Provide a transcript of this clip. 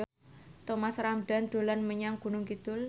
Thomas Ramdhan dolan menyang Gunung Kidul